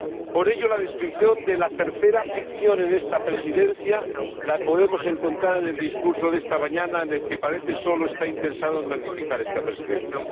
Por ello, la descripción de la tercera ficción en esta Presidencia la podemos encontrar en el discurso de esta mañana, en el que parece que el Presidente solo está interesado en magnificar esta Presidencia.